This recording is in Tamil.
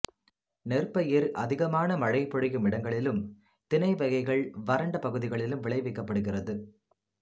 நெற்பயிர் அதிகமான மழைப்பொழியும் இடங்களிலும் திணைவகைகள் வறண்ட பகுதிகளிலும் விளைவிக்கப்படுகிறது